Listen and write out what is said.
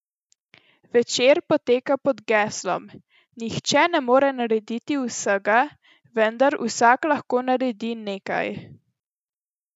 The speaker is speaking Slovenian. Večer poteka pod geslom: "Nihče ne more narediti vsega, vendar vsak lahko naredi nekaj"!